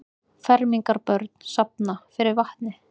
Fermingarbörn safna fyrir vatni